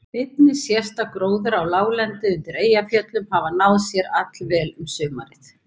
Einnig sést að gróður á láglendi undir Eyjafjöllum hafði náð sér allvel um sumarið.